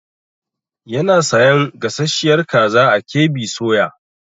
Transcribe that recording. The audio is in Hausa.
Yana sayan gasasshiyar kaza a KB soya.